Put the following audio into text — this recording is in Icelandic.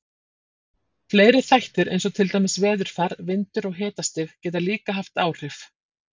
Fleiri þættir eins og til dæmis veðurfar, vindur og hitastig, geta líka haft áhrif.